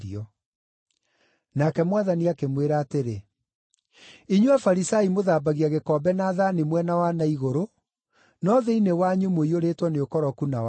Nake Mwathani akĩmwĩra atĩrĩ, “Inyuĩ Afarisai mũthambagia gĩkombe na thaani mwena wa na igũrũ, no thĩinĩ wanyu mũiyũrĩtwo nĩ ũkoroku na waganu.